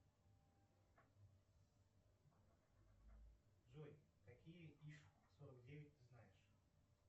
джой какие иж сорок девять ты знаешь